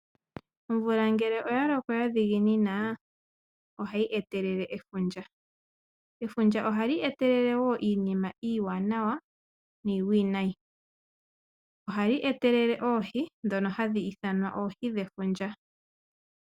Omvula ngele oyaloko ya dhiginina ohayi etelele efundja. Efundja ohali etelele iinima iiwananwa niiwinayi. Ohali etelele oohi ndhono hadhi ithanwa oohi dhefundja.